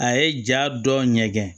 A ye ja dɔ ɲɛgɛn